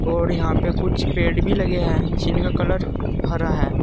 और यहां पे कुछ पेड़ भी लगे हैं जिनका कलर हरा है।